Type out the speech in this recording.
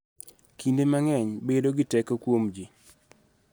Kinde mang�eny bedo gi teko kuom ji